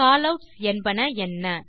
காலவுட்ஸ் என்பன என்ன